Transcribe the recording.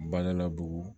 Bala bugu